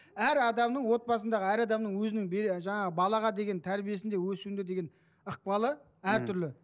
әр адамның отбасындағы әр адамның өзінің жаңағы балаға деген тәрбиесінде өсуінде деген ықпалы әртүрлі